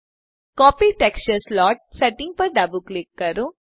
copy texture slot settings પર ડાબું click કરો